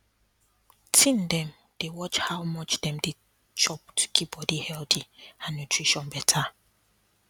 teen dem dey watch how much dem dey chop to keep body healthy and nutrition better